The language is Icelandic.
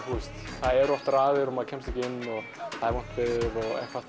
það eru oft raðir og maður kemst ekki inn og það er vont veður og eitthvað